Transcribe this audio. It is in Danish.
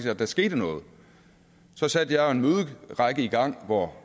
at der skete noget så satte jeg jo en møderække i gang hvor